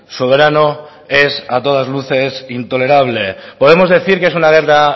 soberano es a todas luces intolerable podemos decir que es una guerra